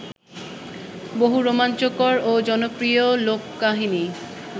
বহু রোমাঞ্চকর ও জনপ্রিয় লোককাহিনি